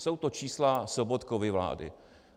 Jsou to čísla Sobotkovy vlády.